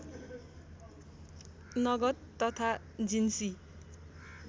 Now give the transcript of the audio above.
नगद तथा जिन्सी